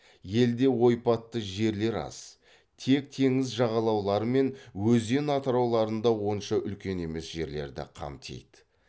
елде ойпатты жерлер аз тек теңіз жағалаулары мен өзен атырауларында онша үлкен емес жерлерді қамтиды